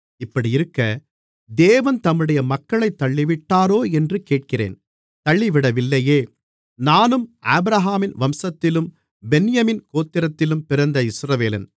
இப்படியிருக்க தேவன் தம்முடைய மக்களைத் தள்ளிவிட்டாரோ என்று கேட்கிறேன் தள்ளிவிடவில்லையே நானும் ஆபிரகாமின் வம்சத்திலும் பென்யமீன் கோத்திரத்திலும் பிறந்த இஸ்ரவேலன்